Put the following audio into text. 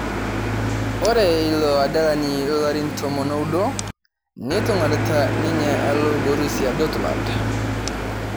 Ore ilo adalani lolarin tomon oudo netuang'arata ninye alo Borusia Dortmund